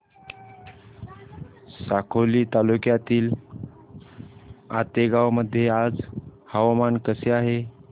साकोली तालुक्यातील आतेगाव मध्ये आज हवामान कसे आहे